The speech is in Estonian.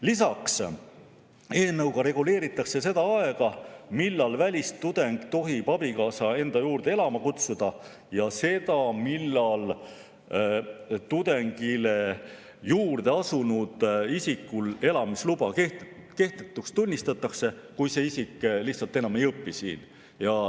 Lisaks reguleeritakse eelnõuga seda aega, millal välistudeng tohib abikaasa enda juurde elama kutsuda, ja seda, millal tudengi juurde asunud isiku elamisluba kehtetuks tunnistatakse, kui see isik lihtsalt enam ei õpi siin.